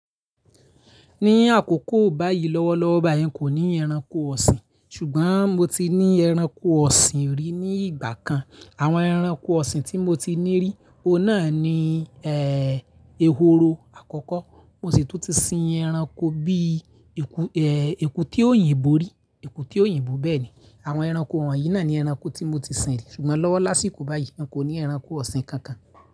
Ní àkókò báyìí lọ́wọ́lọ́wọ́ báyìí, n kò ní ẹranko ọ̀sìn, ṣùgbọ́n mo ti ní ẹranko ọ̀sìn rí ní ìgbà kan. Àwọn ẹranko ọ̀sìn tí mo ti ní rí, òun náà ni, ehoro àkọ́kọ́. Mo sì tún ti sin ẹranko bí, eku, èkúté òyìnbó rí, èkúté òyìnbó bẹ́ẹ̀ ni. Àwọn ẹranko wọ̀nyí náà ni ẹranko tí mo ti sin rí, ṣùgbọ́n lọ́wọ́ lásìkò báyìí, n kò ní ẹranko ọ̀sìn kankan.